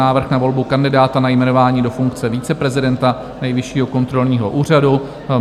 Návrh na volbu kandidáta na jmenování do funkce viceprezidenta Nejvyššího kontrolního úřadu